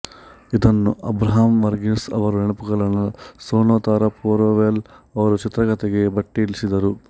ಇದನ್ನು ಅಬ್ರಾಹ್ಮ್ ವರ್ಗೀಸ್ ಅವರ ನೆನಪುಗಳನ್ನು ಸೂನೊ ತಾರಾಪೊರೆವಾಲಾ ಅವರು ಚಿತ್ರಕಥೆಗೆ ಭಟ್ಟಿ ಇಳಿಸಿದ್ದರು